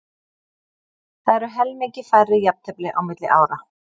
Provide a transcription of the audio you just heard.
Það eru helmingi færri jafntefli á milli ára.